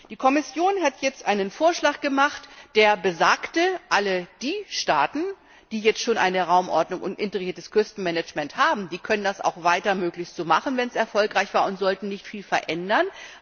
Die Kommission hat jetzt einen Vorschlag gemacht, der besagt Alle die Staaten, die jetzt schon eine Raumordnung und integriertes Küstenmanagement haben, können das auch weiter möglichst so machen, wenn es erfolgreich war, und sollten nicht viel verändern.